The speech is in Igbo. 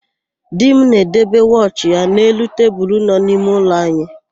Di m na-edebe wọchị ya n'elu tebulu nọ n'ime ụlọ anyị.